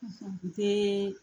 unhun um teeeee